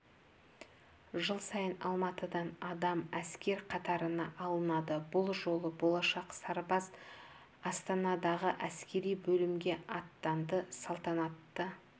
жыл сайын алматыдан адам әскер қатарына алынады бұл жолы болашақ сарбаз астанадағы әскери бөлімге аттанды салтанатты